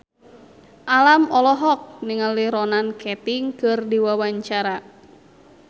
Alam olohok ningali Ronan Keating keur diwawancara